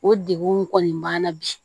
O degunw kɔni banna bi